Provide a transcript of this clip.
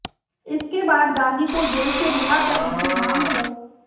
इसके बाद गांधी को जेल से रिहा करने की मांग को